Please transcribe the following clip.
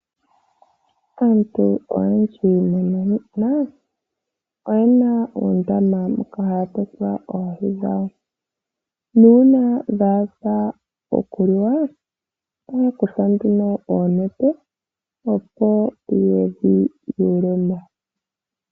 Aantu oyendji muuyuni muka oyena oondama moka haya tekula oohi dhawo. Nuuna dhaadha okuliwa, ohaya kutha nduno oonete opo yedhi yuulemo.